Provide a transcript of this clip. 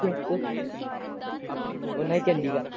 ਉਹਨਾ ਦੀ Chandigarh